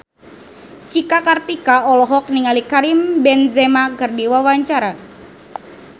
Cika Kartika olohok ningali Karim Benzema keur diwawancara